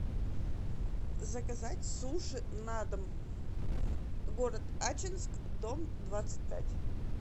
заказать суши на дом город ачинск дом двадцать пять